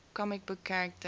comic book character